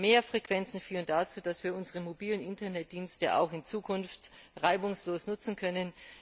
Mehr Frequenzen führen dazu, dass wir unsere mobilen Internetdienste auch in Zukunft reibungslos nutzen können.